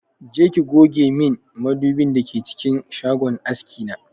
Je ki goge min madubin da ke cikin shagon aski na!